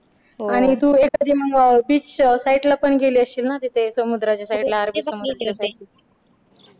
हो आणि एखादी तू beach side ला पण गे गेली असशील ना तिथे समुद्राच्या side ला अरबी समुद्राच्या side ला गेली होतीस